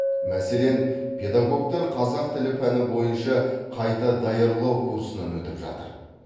мәселен педагогтар қазақ тілі пәні бойынша қайта даярлау курсынан өтіп жатыр